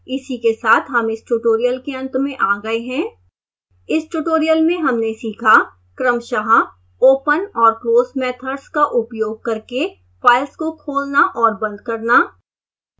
इसी के साथ हम इस tutorial के अंत में आ गए हैं